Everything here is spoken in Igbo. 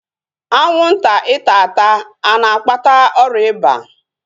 Anwụnta ịta ata a na-akpata ọrịa ịba?